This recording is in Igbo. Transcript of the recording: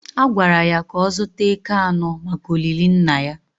A gwara ya ka ọ zụta eke anọ maka olili Nna ya